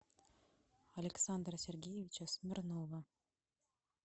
александра сергеевича смирнова